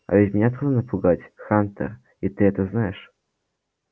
а ведь меня трудно напугать хантер и ты это знаешь